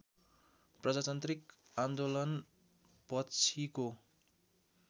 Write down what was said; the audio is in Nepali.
प्रजातान्त्रिक आन्दोलन पछिको